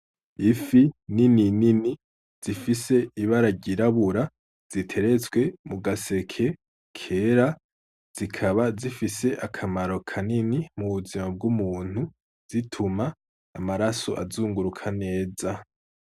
Ifi nini nini zifis'ibara ryirabura ziteretse maseke kera zikaba zifis'akamaro kanini mubuzima bw'umunti zituma amaraso azunguruk neza